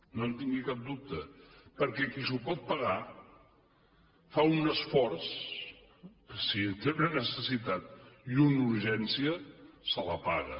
no en tingui cap dubte perquè qui s’ho pot pagar fa un esforç i si en té necessitat i una urgència se la paga